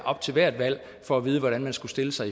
op til hvert valg for at vide hvordan de skulle stille sig